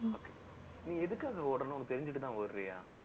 நீ எதுக்க ஓடணும் உனக்கு தெரிஞ்சிட்டு தான் ஓடுறியா